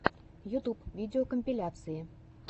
ютюб видеокомпиляции